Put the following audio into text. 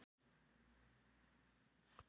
Matvörur hafa lækkað